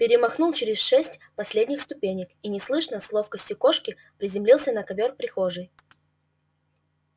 перемахнул через шесть последних ступенек и неслышно с ловкостью кошки приземлился на ковёр прихожей